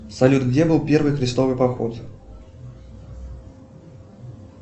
салют где был первый крестовый поход